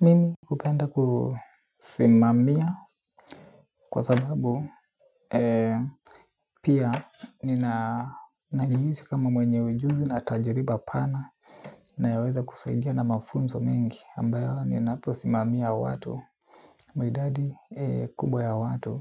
Mimi hupenda kusimamia kwa sababu pia nina najihisi kama mwenye ujuzi na tajiriba pana inayoweza kusaidia na mafunzo mingi ambayo ninapo simamia watu na idadi kubwa ya watu.